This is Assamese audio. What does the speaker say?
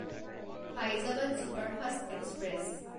Faizabad superfast express